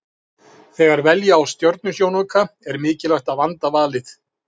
Þegar velja á stjörnusjónauka er mikilvægt að vanda valið.